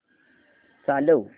चालव